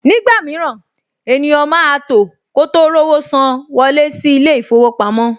Nígbà mìíràn, ènìyàn máa tò kó tó rówó san wọlé sí ilé-ìfowópamọ́